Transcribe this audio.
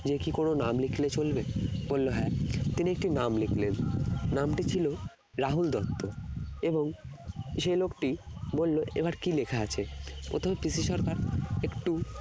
যে কি কোন নাম লিখলে চলবে বললো হ্যাঁ তিনি একটি নাম লিখলেন নামটি ছিল রাহুল দত্ত এবং সে লোকটি বললো এবার কি লেখা আছে প্রথমে PC সরকার একটু